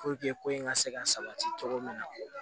ko in ka se ka sabati cogo min na